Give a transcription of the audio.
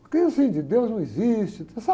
Porque assim, de Deus não existe, sabe?